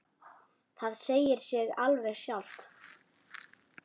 Það segir sig alveg sjálft.